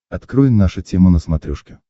открой наша тема на смотрешке